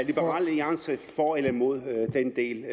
liberal alliance for eller imod den del